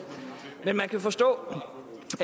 men man kan forstå